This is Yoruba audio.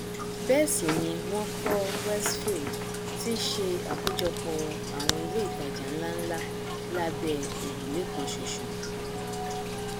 bẹẹ sì ni wọn kọ westfield tí í ṣe àkójọpọ àwọn ilé ìtajà nlánlá lábẹ òrùlé kanṣoṣo